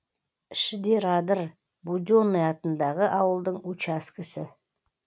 шидерадыр буденый атындағы ауылдың учаскесі